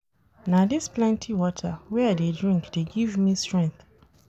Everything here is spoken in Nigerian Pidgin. Na dis plenty water wey I dey drink dey give me strength.